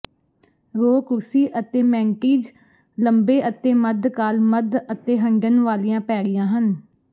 ਰੋ ਕੁਰਸੀ ਅਤੇ ਮੈੰਟੀਜ ਲੰਬੇ ਅਤੇ ਮੱਧਕਾਲ ਮੱਧ ਅਤੇ ਹੰਢਣ ਵਾਲੀਆਂ ਪੈੜੀਆਂ ਹਨ